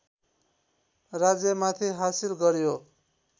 राज्यमाथि हासिल गर्‍यो